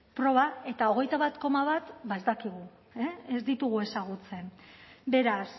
proba eta hogeita bat koma bat ez dakigu ez ditugu ezagutzen beraz